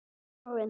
Og Orðinu.